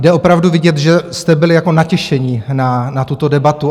Je opravdu vidět, že jste byli jako natěšení na tuto debatu.